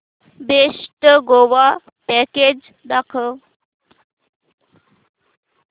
best Goa package दाखव